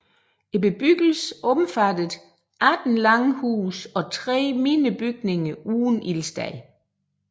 Bebyggelsen omfattede 18 langhuse og 3 mindre bygninger uden ildsted